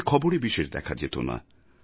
তাঁকে খবরে বিশেষ দেখা যেত না